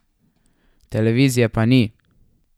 Televizije pa ni.